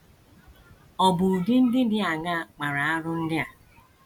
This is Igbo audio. Ọ̀ bụ ụdị ndị dị aṅaa kpara arụ ndị a?